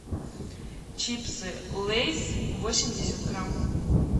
чипсы лейс восемьдесят грамм